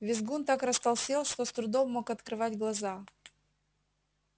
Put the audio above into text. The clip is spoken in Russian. визгун так растолстел что с трудом мог открывать глаза